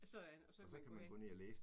Sådan! Og så kan man gå ind